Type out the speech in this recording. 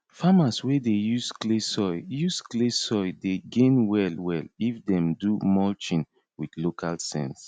farmers wey dey use clay soil use clay soil dey gain well well if dem do mulching with local sense